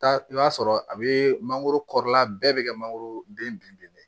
Taa i b'a sɔrɔ a bɛ mangoro kɔrɔla bɛɛ bɛ kɛ mangoro den binnen de ye